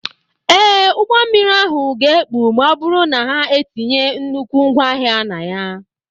Ee, ụgbọ mmiri ahụ ga-ekpu ma ọ bụrụ na ha etinye nnukwu ngwaahịa na ya.